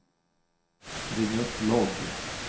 ring upp logg